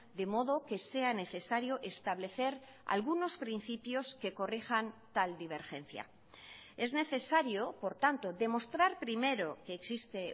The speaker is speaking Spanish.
de modo que sea necesario establecer algunos principios que corrijan tal divergencia es necesario por tanto demostrar primero que existe